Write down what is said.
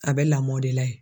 A bɛ lamɔ de la yen